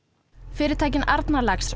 fyrirtækin Arnarlax